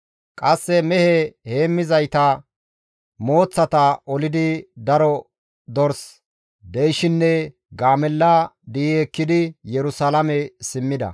Qasse mehe heemmizayta mooththata olidi daro dors, deyshinne gaamella di7i ekkidi Yerusalaame simmida.